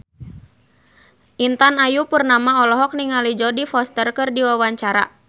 Intan Ayu Purnama olohok ningali Jodie Foster keur diwawancara